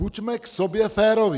Buďme k sobě féroví!